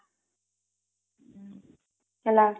ହେଲା